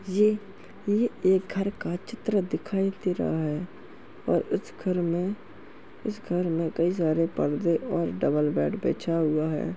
ये-ये एक घर का चित्र दिखाई दे रहा है और इस घर में- इस घर में कई सारे पर्दे और डबल बेड बिछा हुआ हैं।